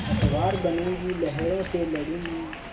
पतवार बनूँगी लहरों से लडूँगी